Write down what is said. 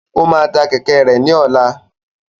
Yóò tá kẹkẹ rẹ ní ọlá